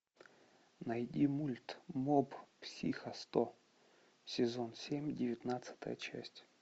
найди мульт моб психо сто сезон семь девятнадцатая часть